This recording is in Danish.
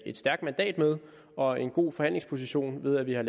et stærkt mandat og en god forhandlingsposition ved at vi har